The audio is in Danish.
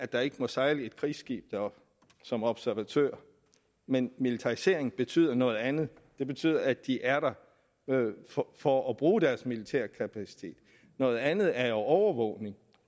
der ikke må sejle et krigsskib deroppe som observatør men militarisering betyder noget andet det betyder at de er der for at bruge deres militære kapacitet noget andet er jo overvågning og